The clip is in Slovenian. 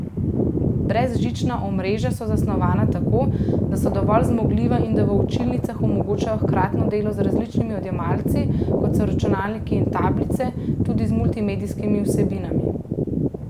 Brezžična omrežja so zasnovana tako, da so dovolj zmogljiva in da v učilnicah omogočajo hkratno delo z različnimi odjemalci, kot so računalniki in tablice, tudi z multimedijskimi vsebinami.